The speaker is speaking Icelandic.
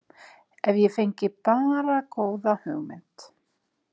Ef ég fengi bara góða hugmynd.